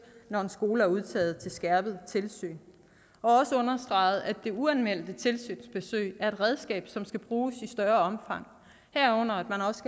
når en skole er udtaget til skærpet tilsyn og også understreget at det uanmeldte tilsynsbesøg er et redskab som skal bruges i større omfang herunder